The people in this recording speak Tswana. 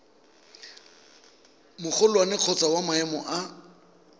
magolwane kgotsa wa maemo a